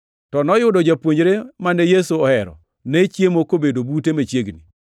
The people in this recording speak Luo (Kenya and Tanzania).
To noyudo japuonjre mane Yesu ohero, ne chiemo kobedo bute machiegni.